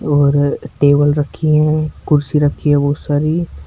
और टेबल रखी है कुर्सी रखी है बहोत सारी।